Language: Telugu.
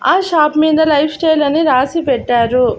ఆ షాప్ మీద లైఫ్ స్టైల్ అని రాసి పెట్టారు.